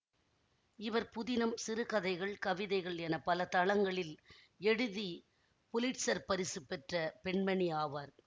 இவர் புதினம் சிறுகதைகள் கவிதைகள் என பல தளங்களில் எழுதி புலிட்சர் பரிசு பெற்ற பெண்மணி ஆவார்